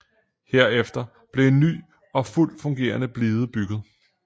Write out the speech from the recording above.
Herefter blev en ny og fuldt fungerende blide bygget